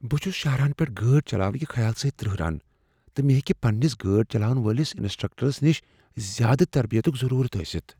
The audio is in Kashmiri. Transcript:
بہٕ چھٗس شاہراہن پیٹھ گٲڑۍ چلاونٕکہِ خیال سۭتہِ ترہران، تہٕ مےٚ ہیٚکہ پننس گٲڑِ چلاونہٕ وٲلس انسٹرکٹرس نش زیٛادٕ تربیتک ضرورت ٲستھ ۔